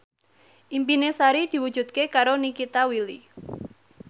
impine Sari diwujudke karo Nikita Willy